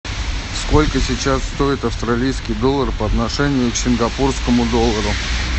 сколько сейчас стоит австралийский доллар по отношению к сингапурскому доллару